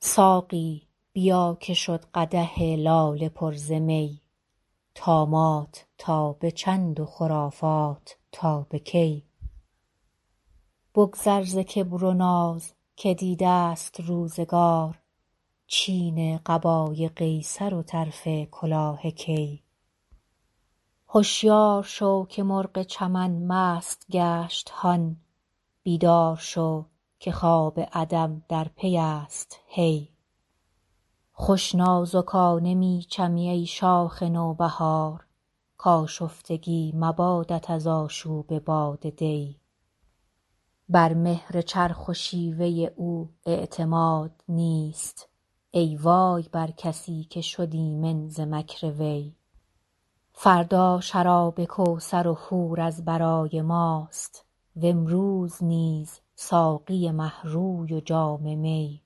ساقی بیا که شد قدح لاله پر ز می طامات تا به چند و خرافات تا به کی بگذر ز کبر و ناز که دیده ست روزگار چین قبای قیصر و طرف کلاه کی هشیار شو که مرغ چمن مست گشت هان بیدار شو که خواب عدم در پی است هی خوش نازکانه می چمی ای شاخ نوبهار کآشفتگی مبادت از آشوب باد دی بر مهر چرخ و شیوه او اعتماد نیست ای وای بر کسی که شد ایمن ز مکر وی فردا شراب کوثر و حور از برای ماست و امروز نیز ساقی مه روی و جام می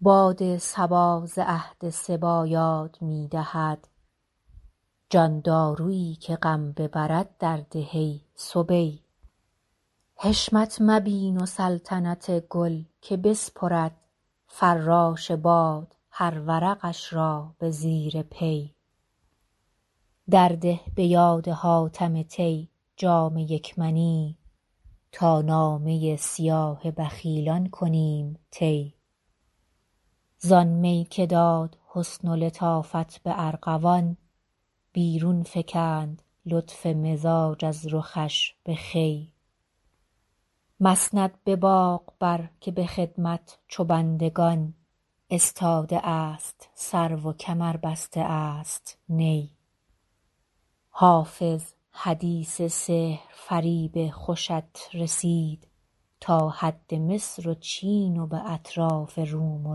باد صبا ز عهد صبی یاد می دهد جان دارویی که غم ببرد درده ای صبی حشمت مبین و سلطنت گل که بسپرد فراش باد هر ورقش را به زیر پی درده به یاد حاتم طی جام یک منی تا نامه سیاه بخیلان کنیم طی زآن می که داد حسن و لطافت به ارغوان بیرون فکند لطف مزاج از رخش به خوی مسند به باغ بر که به خدمت چو بندگان استاده است سرو و کمر بسته است نی حافظ حدیث سحرفریب خوشت رسید تا حد مصر و چین و به اطراف روم و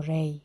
ری